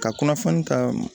Ka kunnafoni ta